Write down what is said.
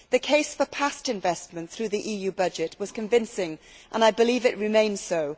The case for past investment through the EU budget was convincing, and I believe that it remains so.